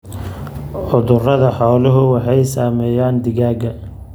Cudurada xooluhu waxay saameeyaan digaagga.